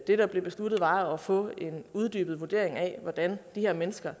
det der blev besluttet var at få en uddybet vurdering af hvordan de her menneskers